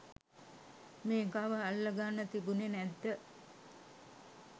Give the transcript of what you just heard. මේකව අල්ල ගන්න තිබුනෙ නැද්ද?